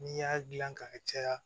N'i y'a dilan ka caya